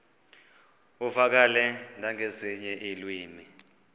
uvakale nangezinye iilwimi